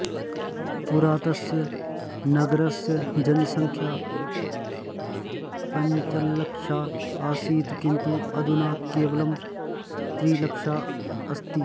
पुरा तस्य नगरस्य जनसंख्या पञ्चलक्षा आसीत् किन्तु अधुना केवलं त्रिलक्षा अस्ति